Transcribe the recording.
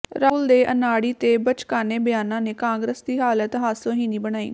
ਰਾਹੁਲ ਦੇ ਅਨਾੜੀ ਤੇ ਬੱਚਕਾਨੇ ਬਿਆਨਾਂ ਨੇ ਕਾਂਗਰਸ ਦੀ ਹਾਲਤ ਹਾਸੋਹੀਣੀ ਬਣਾਈ